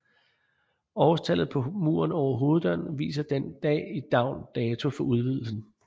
Årstallet på muren over hoveddøren viser den dag i dagn dato for udvidelsen